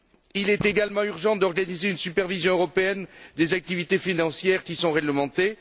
Il est également urgent d'organiser une supervision européenne des activités financières qui sont réglementées.